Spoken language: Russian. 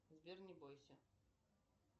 сбер не бойся